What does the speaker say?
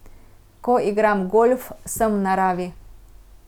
Ko igram golf, sem v naravi.